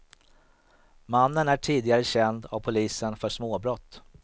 Mannen är tidigare känd av polisen för småbrott.